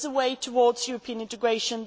There is a way towards European integration